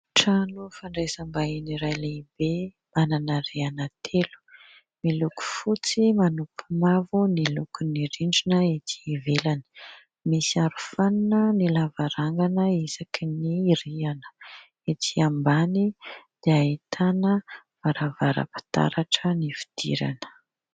Trano fandrasam-bahiny iray lehibe, manana rihana telo, miloko fotsy, manopy mavo ny lokon'ny rindrina ety ivelany. Misy aro fanina ny lavarangana isaky ny rihana. Ety ambany dia ahitana varavaram-pitaratra ny fidirana.